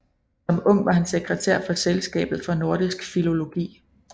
Som ung var han sekretær for Selskabet for Nordisk Filologi